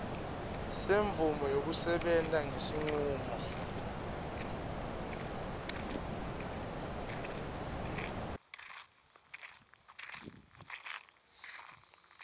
semvumo yekusebenta ngesincumo